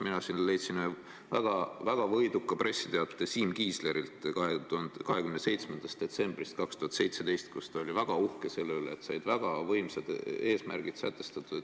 Mina aga leidsin väga võiduka pressiteate Siim Kiislerilt 27. detsembrist 2017, kus ta oli väga uhke selle üle, et said väga võimsad eesmärgid sätestatud.